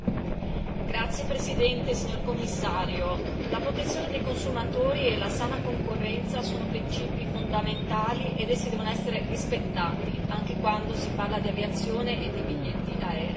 Signor Presidente, onorevoli colleghi, signor Commissario, la protezione dei consumatori e la sana concorrenza sono principi fondamentali ed essi devono essere rispettati, anche quando si parla di aviazione e di biglietti aerei.